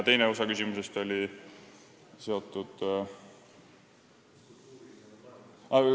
Küsimuse teine osa oli seotud ...